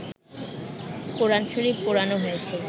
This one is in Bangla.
কোরআন শরীফ পোড়ানো হয়েছে